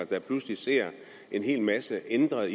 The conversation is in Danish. der pludselig ser en hel masse ændret